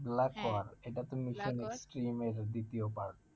black war এটা তো দ্বিতীয় part